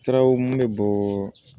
Siraw mun bɛ bɔɔ